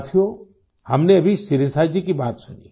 साथियो हमने अभी शिरीषा जी की बात सुनी